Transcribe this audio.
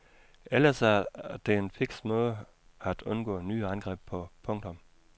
Ellers er det en fiks måde at undgå nye angreb på. punktum